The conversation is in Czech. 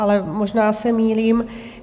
Ale možná se mýlím.